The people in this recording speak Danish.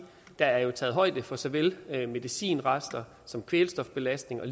der jo er taget højde for såvel medicinrester som kvælstofbelastning og